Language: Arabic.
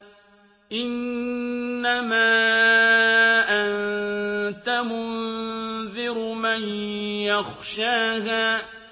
إِنَّمَا أَنتَ مُنذِرُ مَن يَخْشَاهَا